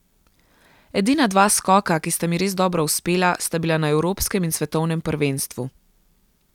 Edina dva skoka, ki sta mi res dobro uspela, sta bila na evropskem in svetovnem prvenstvu.